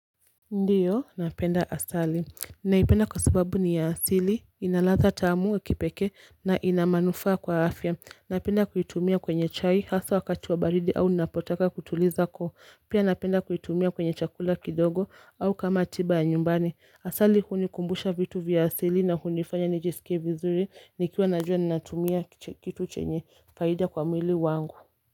Ndiyo, napenda asali, naipenda kwa subabu ni ya asili, ina latha tamu ya kipekee na ina manufaa kwa afya, napenda kuitumia kwenye chai, hasaa wakati wa baridi au ninapotaka kutuliza koo, pia napenda kuitumia kwenye chakula kidogo au kama tiba ya nyumbani, asali hunikumbusha vitu vya asili na hunifanya nijisike vizuri, nikiwa najua ninatumia kitu chenye, faida kwa mwili wangu.